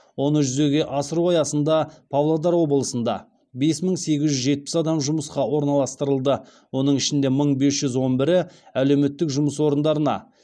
оны жүзеге асыру аясында павлодар облысында бес мың сегіз жүз жетпіс адам жұмысқа орналастырылды оның ішінде мың бес жүз он бірі әлеуметтік жұмыс орындарына